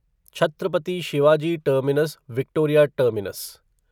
Chhatrapati Shivaji terminus Victoria terminus